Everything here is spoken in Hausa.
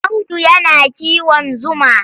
Audu yana kiwon zuma.